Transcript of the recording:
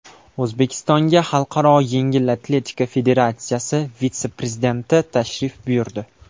O‘zbekistonga Xalqaro yengil atletika federatsiyasi vitse-prezidenti tashrif buyurdi.